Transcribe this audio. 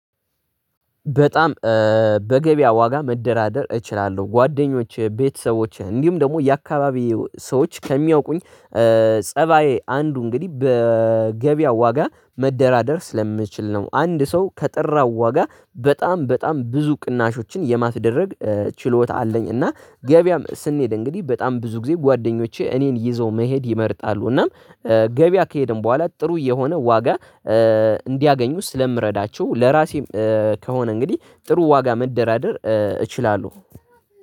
በጣም በገበያ ዋጋ መደራደር እችላለሁ። ጓደኞቼ፤ ቤተሰቦቼ እንዲሁም ደግሞ የአካባቢ ሰዎች ከሚያውቁኝ ፀባዬ አንዱ እንግዲህ በገበያው ዋጋ መደራደር ስለምችል ነው። አንድ ሰው ከጠራው ዋጋ በጣም በጣም ብዙ ቅናሾችን የማስደረግ ችሎታ አለኝ። እና ገበያም ስንሄድ እንግዲህ በጣም ብዙ ጊዜ ጓደኞቼ እኔን ይዘው መሄድ ይመርጣሉ። እናም ገበያ ከሄደን በኋላ ጥሩ የሆነ ዋጋ እንዲያገኙ ስለምረዳቸው፤ ለራሴ ከሆነ እንግዲህ ጥሩ ዋጋ መደራደር እችላለሁ።